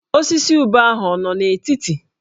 Osisi ube ahụ ọ nọ n'etiti?